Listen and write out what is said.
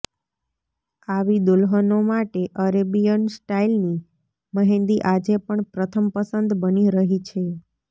આવી દુલ્હનો માટે અરેબિયન સ્ટાઇલની મહેંદી આજે પણ પ્રથમ પસંદ બની રહી છે